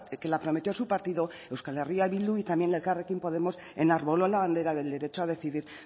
que la prometió su partido euskal herria bildu y también elkarrekin podemos enarboló la bandera del derecho a decidir